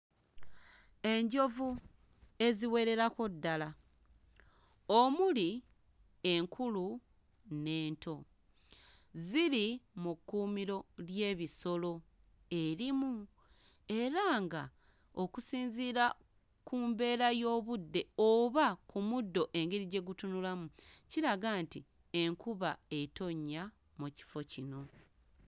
Enjovu eziwererako ddala omuli enkulu n'ento, ziri mu kkuumiro ly'ebisolo erimu, era nga okusinziira ku mbeera y'obudde oba ku muddo engeri gye gutunulamu kiraga nti enkuba etonnya mu kifo kino.